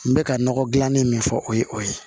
N bɛ ka nɔgɔ gilanni min fɔ o ye o ye